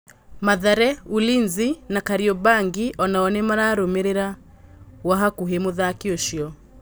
Mathare, Ulinzi na Kariombangi onao nĩ mararũmĩ rĩ ra gwa hakuhí mũthaki ũcio.